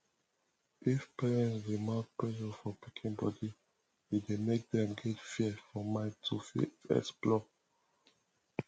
if parents dey mount pressure for pikin body e dey make dem get fear for mind to fit explore